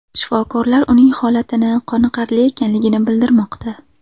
Shifokorlar uning holatini qoniqarli ekanligini bildirmoqda.